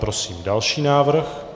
Prosím další návrh.